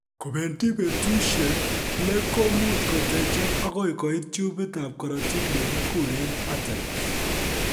Kobendi betusiek plaque komuch kotechak agoi koit tubit ab korotik nekikuren arteries